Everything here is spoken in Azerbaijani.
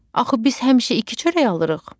Axı biz həmişə iki çörək alırıq.